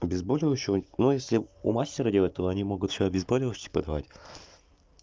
обезболивающего ну если у мастера делать то они могут ещё обезболивающе подавать